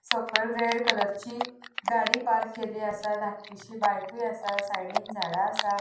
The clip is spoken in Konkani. सकयल रेड कलरची गाड़ी पार्क केल्ली असा धाकटीशी बायकुय आसा साइडीन झाडा आसा.